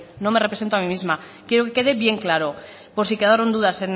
no me represento a mí misma quiero que quede bien claro por si quedaron dudas